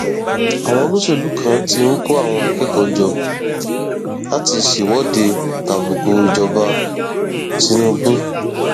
àwọn olóṣèlú kan ti ń kó àwọn akẹkọọ jọ láti ṣèwọde tàbùkù ìjọba tìǹbù